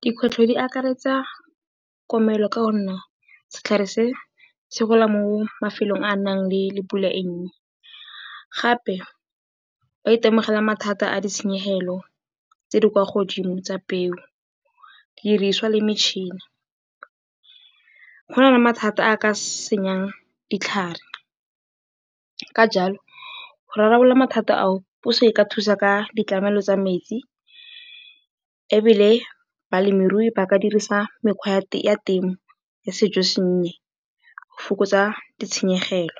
Dikgwetlho di akaretsa komello ka gonne setlhare se se gola mo mafelong a a nang le pula e e nnye. Gape ba itemogela mathata a ditshenyegelo tse di kwa godimo tsa peo, didiriswa le metšhini. Go na le mathata a a ka senyang ditlhare, ka jalo go rarabolola mathata ao puso e ka thusa ka ditlamelo tsa metsi ebile balemirui ba ka dirisa mekgwa ya temo ya sejosennye go fokotsa ditshenyegelo.